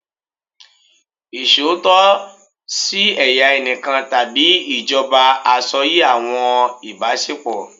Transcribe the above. Iṣootọ si ẹya ẹnikan tabi ijọba asọye awọn ibasepo